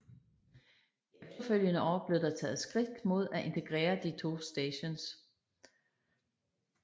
De efterfølgende år blev der taget skridt mod at integrere de to stations